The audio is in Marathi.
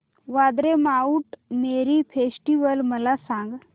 वांद्रे माऊंट मेरी फेस्टिवल मला सांग